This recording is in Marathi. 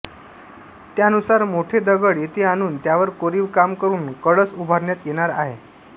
त्यानुसार मोठे दगड येथे आणून त्यावर कोरीव काम करून कळस उभारण्यात येणार आहे